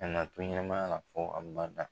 An nana to ɲɛmayara fo abada.